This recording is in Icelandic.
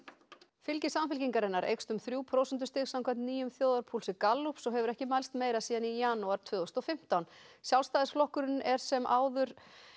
fylgi Samfylkingarinnar eykst um þrjú prósentustig samkvæmt nýjum þjóðarpúlsi Gallups og hefur ekki mælst meira síðan í janúar tvö þúsund og fimmtán Sjálfstæðisflokkurinn er sem áður